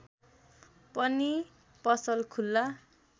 पनि पसल खुल्ला